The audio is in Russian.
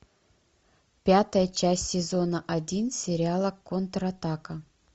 пятая часть сезона один сериала контратака